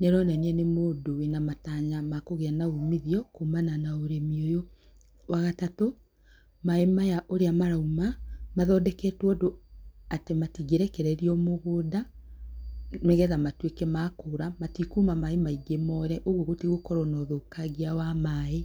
nĩ aronania nĩ mũndũ wĩna matanya ma kũgĩa na uumithio, kuumana na ũrĩmi ũyũ. Wa gatatu, maaĩ maya ũrĩa marauma, mathondeketwo ũndũ atĩ matingĩrekererio mũgũnda, nĩgetha matuĩke ma kũũra matikuma maingĩ moore ũguo gũtigũkorwo na ũthũkangia wa maaĩ.